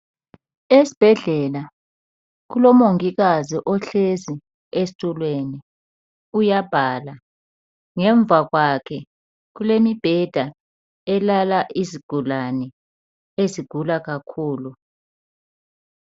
Esibhedlela kulomongikazi ohlezi esitulweni uyabhala ngemva kwakhe kulemibheda elalala izigulane ezigula kakhulu